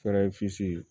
Fɛrɛ